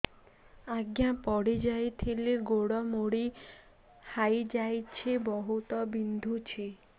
ଆଜ୍ଞା ପଡିଯାଇଥିଲି ଗୋଡ଼ ମୋଡ଼ି ହାଇଯାଇଛି ବହୁତ ବିନ୍ଧୁଛି